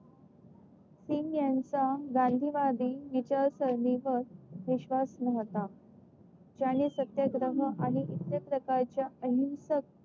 सिंग यांचा गांधी वाडी विचार शैलीवर विश्वास न्हवता त्याने सत्याग्रह अनेक प्रकारच्या अहिंसक